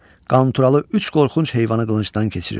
Qanturalı üç qorxunc heyvanı qılıncdan keçirir.